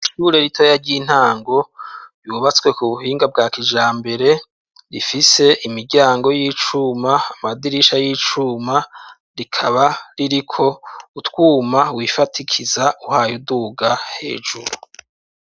Ishure ritoya ry'intango yubatswe ku buhinga bwa kijambere. Rifise imiryango y'icuma amadirisha y'icuma rikaba ririko utwuma wifatikiza uhaye uduga hejuru.